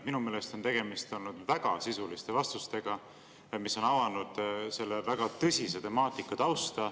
Minu meelest on olnud tegemist väga sisuliste vastustega, mis on avanud selle väga tõsise temaatika tausta.